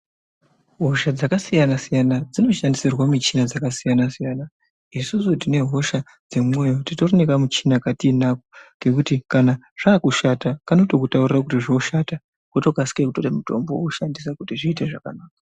Hosha dzakasiyana-siyana dzinoshandisirwa michina dzakasiyana-siyana. Isusu tinehosha dzemwoyo titorine kamuchina katinako kekuti kana zvakushata kanotokutaurire kuti zvoshata votokasire kutora mutombo voshandisa kuti zviite zvakanaka.